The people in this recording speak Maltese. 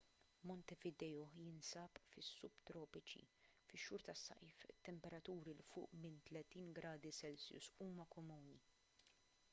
montevideo jinsab fis-subtropiċi; fix-xhur tas-sajf temperaturi ’l fuq minn +30°c huma komuni